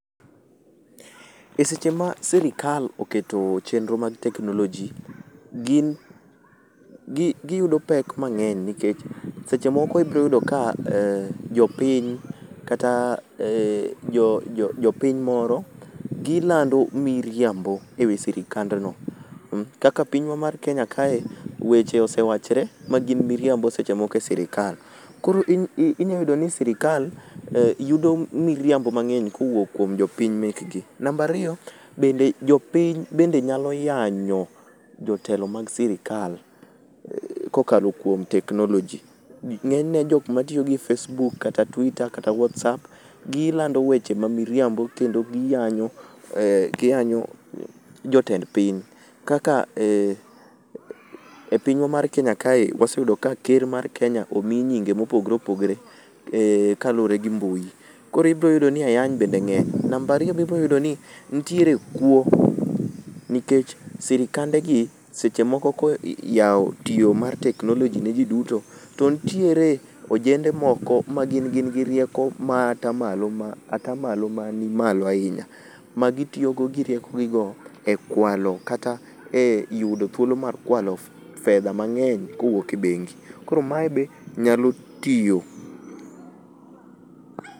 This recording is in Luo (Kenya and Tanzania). E seche ma sirikal oketo chenro mag teknoloji, gin giyudo pek mang'eny nikech sech moko ibro yudo ka jopiny kata jopiny moro lando miriambo e wi sirikandno. Kaka pinywa mar Kenya kae, weche osewachre magin miriambo seche moko e sirikal. Koro inyalo yudoni sirikal yudo miriambo mang'eny kowuok kuom jopiny mekgi. Namba ariyo bende, jopiny bende nyalo yanyo jotelo mag sirikal kokalo kuom teknoloji. Ng'enyne jok matiyo gi Facebook kata Twitter kata Whatsapp, gilando weche ma miriambo kendo giyanyo jotend piny. Kaka e pinywa mar Kenya kae waseyudo ka ker wa mar Kenya omi nyinge mopogore opogore kalure gi mbui. Koro ibro yudo ni ayany bende ng'eny. Namba ariyo, ibro yudo ni nitiere kuwo nikech sirikandegi seche moko koyawo tiyo mar teknoloji ne ji duto to nitiere ojende moko ma gin gi rieko ma atamalo ,atamalo ma nimalo ahinya ma gitiyogo gi riekogigo e kwalo kata e yudo thuolo mar kwalo fedha mang'eny kowuok e bengi. Koro mae be nyalo tiyo.